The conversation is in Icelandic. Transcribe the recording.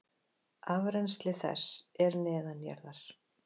Afrennsli þess er neðanjarðar.